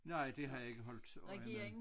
Nej det har jeg ikke holdt øje med